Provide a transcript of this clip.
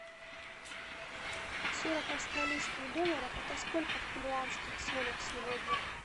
сорок австралийских долларов это сколько в перуанских солях сегодня